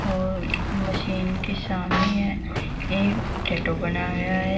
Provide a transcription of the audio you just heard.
और मशीन के सामने एक टैटू बना गया है।